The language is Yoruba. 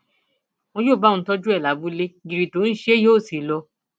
wọn yóò bá òun tọjú ẹ lábúlé gírí tó ń ṣe é yóò sì lọ